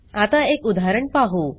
आता एक उदाहरण पाहू